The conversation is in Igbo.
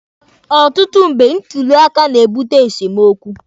Ọtụtụ mgbe, ntuli aka na-ebute esemokwu.